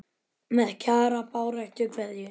Með Kjara baráttu kveðju.